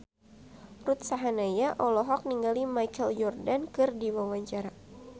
Ruth Sahanaya olohok ningali Michael Jordan keur diwawancara